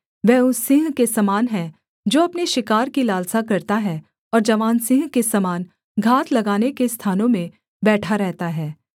वह उस सिंह के समान है जो अपने शिकार की लालसा करता है और जवान सिंह के समान घात लगाने के स्थानों में बैठा रहता है